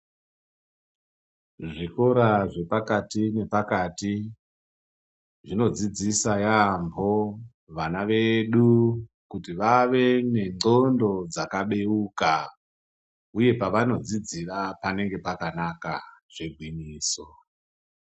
Zvikora zve pakati na pakati zvino dzidzisa yambo vana vedu kuti vave ne ndxondo dzaka beuka uye pavano dzidzira panenge pakanaka zve ngwinyiso.